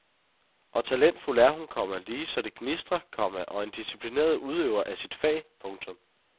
Og talentfuld er hun, komma lige så det gnistrer, komma og en disciplineret udøver af sit fag. punktum